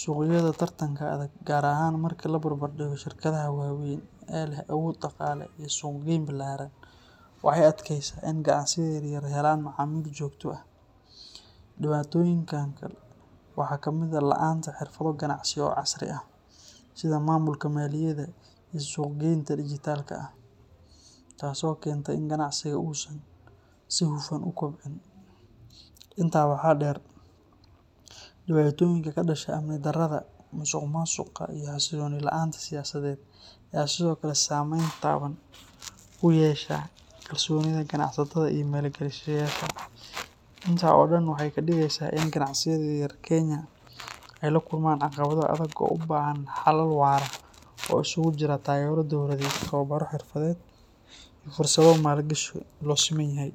Suuqyada tartanka adag, gaar ahaan marka la barbar dhigo shirkadaha waaweyn ee leh awood dhaqaale iyo suuqgeyn ballaaran, waxay adkaysaa in ganacsiyada yaryar helaan macaamiil joogto ah. Dhibaatooyinka kale waxaa kamid ah la’aanta xirfado ganacsi oo casri ah, sida maamulka maaliyadda iyo suuqgeynta dijitaalka ah, taasoo keenta in ganacsigu uusan si hufan u kobcin. Intaa waxaa dheer, dhibaatooyinka ka dhasha amni darrada, musuqmaasuqa, iyo xasilooni la’aanta siyaasadeed ayaa sidoo kale saameyn taban ku yeesha kalsoonida ganacsatada iyo maalgashadayaasha. Intaas oo dhan waxay ka dhigaysaa in ganacsiyada yaryar ee Kenya ay la kulmaan caqabado adag oo u baahan xalal waara oo isugu jira taageero dowladeed, tababaro xirfadeed, iyo fursado maalgashi oo loo siman yahay.